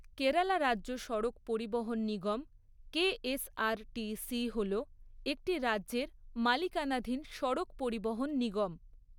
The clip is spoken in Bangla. কেরালা রাজ্য সড়ক পরিবহন নিগম 'কেএসআরটিসি' হল একটি রাজ্যের মালিকানাধীন সড়ক পরিবহন নিগম।